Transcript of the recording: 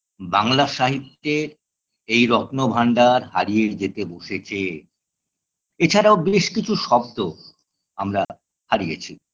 বাংলা সাহিত্যের এই রত্নভান্ডার হারিয়ে যেতে বসেছে এছাড়াও বেশ কিছু শব্দ আমরা হারিয়েছি